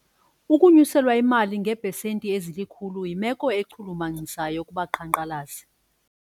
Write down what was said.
Ukunyuselwa imali ngeepesenti ezilikhulu yimelo echulumachisayo kubaqhankqalazi.